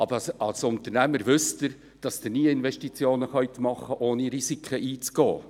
Aber als Unternehmer wissen Sie, dass Sie nie Investitionen tätigen können, ohne Risiken einzugehen.